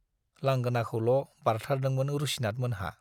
लांगोनाखौल' बारथारदोंमोन रुसिनाथमोनहा।